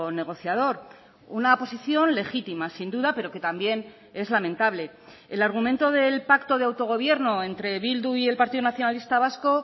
negociador una posición legítima sin duda pero que también es lamentable el argumento del pacto de autogobierno entre bildu y el partido nacionalista vasco